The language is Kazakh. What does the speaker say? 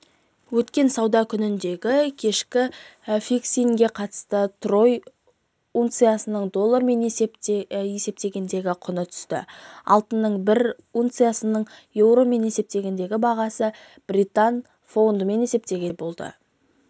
өткен сауда күніндегі кешкі фиксингке қатысты трой унциясының доллармен есептегендегі құны түсті алтынның бір унциясының еуромен есептегендегі бағасы британ фунтымен есептегенде болды